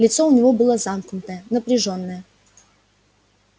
лицо у него было замкнутое напряжённое